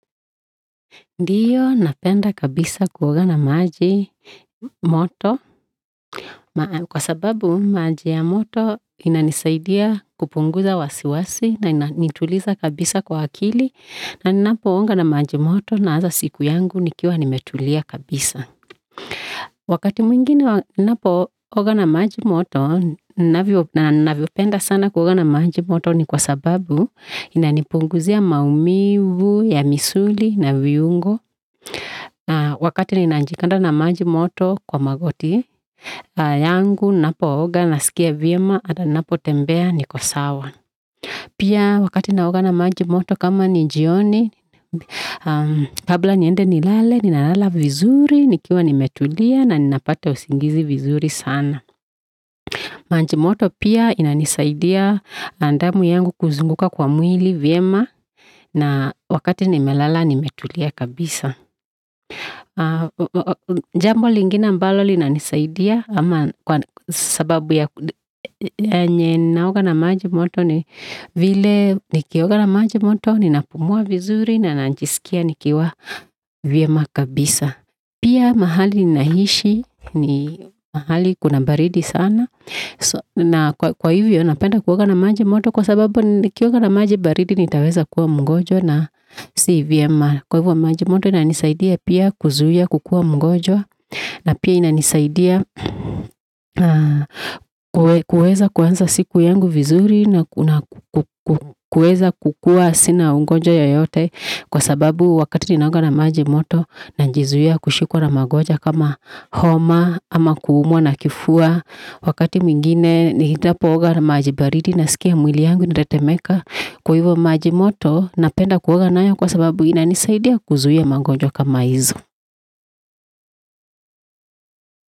Ndiyo napenda kabisa kuoga na maji moto kwa sababu maji ya moto ina nisaidia kupunguza wasiwasi na inanituliza kabisa kwa akili na ninapooga na maji moto naanza siku yangu nikiwa nimetulia kabisa Wakati mwingi wa ninapooga na maji moto na ninavyopenda sana kuogana maji moto ni kwa sababu inanipunguza maumivu, ya misuli na viungo Wakati ninajikanda na maji moto kwa magoti yangu ninapooga nasikia vyema hata ninapotembea niko sawa Pia wakati naoga na maji moto kama ni jioni kabla niende nilale, ninalala vizuri nikiwa nimetulia na ninapata usingizi vizuri sana maji moto pia inanisaidia damu yangu kuzunguka kwa mwili vyema na wakati nimelala nimetulia kabisa Jambo lingine ambalo linisaidia kwa sababu yenye naoga na maji moto vile nikioga na maji moto ni napumua vizuri na najiskia nikiwa vyema kabisa Pia mahali ninaishi ni mahali kuna baridi sana na kwa hivyo napenda kuoga na maji moto kwa sababu nikioga na maji baridi nitaweza kuwa mgonjwa na si vyema kwa hivyo maji moto inanisaidia pia kuzuia kukua mgonjwa na pia inanisaidia kuweza kuanza siku yangu vizuri na ku kuweza kukua sina ugonjwa yoyote kwa sababu wakati ninaoga na maji moto najizuia kushikwa na magonjwa kama homa ama kuumuwa na kifua wakati mwingine ninapooga na maji baridi naskia mwili yangu inatetemeka kwa hivyo maji moto napenda kuoga nayo kwa sababu inanisaidia kuzuia magonjwa kama hizo.